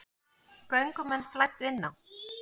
Göngumenn flæddu inn á